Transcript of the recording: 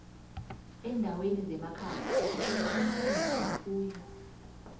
endaweni zemakhaya sithola amasimu nefuyo